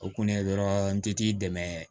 O kun ye dɔrɔn n ti t'i dɛmɛ